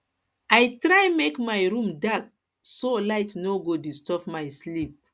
i try make my room dark so light no no go disturb my sleep